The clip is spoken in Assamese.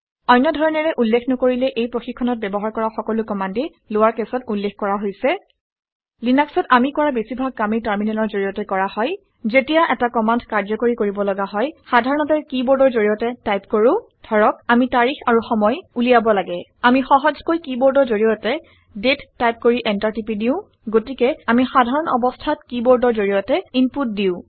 অন্য ধৰণেৰে উল্লেখ নকৰিলে এই প্ৰশিক্ষণত ব্যৱহাৰ কৰা সকলো কমাণ্ডেই লৱাৰ কেছত উল্লেখ কৰা হৈছে। লিনাক্সত আমি কৰা বেছিভাগ কামেই টাৰমিনেলৰ জৰিয়তে কৰা হয়। যেতিয়া এটা কমাণ্ড কাৰ্যকৰী কৰিব লগা হয় সাধাৰণতে কিবৰ্ডৰ জৰিয়তে টাইপ কৰোঁ। ধৰক আামি তাৰিখ আৰু সময় উলিয়াব লাগে। আমি সহজকৈ কিবৰ্ডৰ জৰিয়তে দাঁতে টাইপ কৰি এন্টাৰ টিপি দিওঁ গতিকে আমি সাধাৰণ অৱস্থাত কিবৰ্ডৰ জৰিয়তে ইনপুট দিওঁ